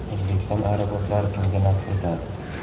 O‘zbekiston aeroportlari kimga nasib etadi?